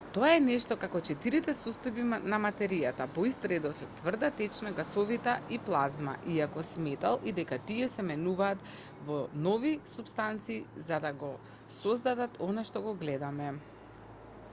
тоа е нешто како четирите состојби на материјата по ист редослед: тврда течна гасовита и плазма иако сметал и дека тие се менуваат во нови супстанции за да го создадат она што го гледаме